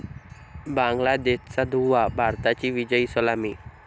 बांगलादेशचा धुव्वा, भारताची विजयी सलामी